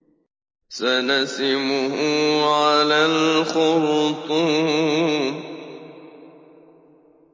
سَنَسِمُهُ عَلَى الْخُرْطُومِ